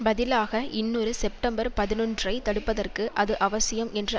பதிலாக இன்னொரு செப்டம்பர்பதினொன்றுஐ தடுப்பதற்கு அது அவசியம் என்ற